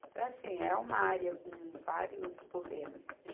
Então, é assim, é uma área com vários problemas.